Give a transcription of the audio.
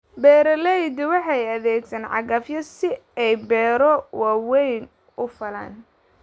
Beeraleydu waxay adeegsadaan cagafyo si ay beero waaweyn u falaan.